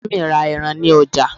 mummy ra eran ni ọjà